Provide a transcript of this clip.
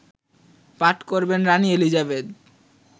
পাঠ করবেন রানি এলিজাবেথ